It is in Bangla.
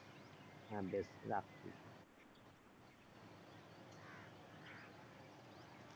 হ্যাঁ বেশ রাখ তুই।